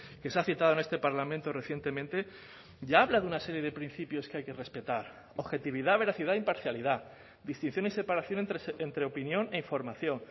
que se ha citado en este parlamento recientemente ya habla de una serie de principios que hay que respetar objetividad veracidad imparcialidad distinción y separación entre opinión e información